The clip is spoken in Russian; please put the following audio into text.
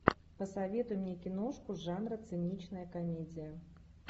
посоветуй мне киношку жанра циничная комедия